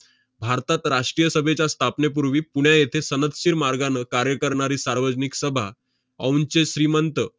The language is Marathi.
भारतात राष्ट्रीय सभेच्या स्थापनेपूर्वी पुणे येथे सनदशीर मार्गानं कार्य करणारी सार्वजनिक सभा औंधचे श्रीमंत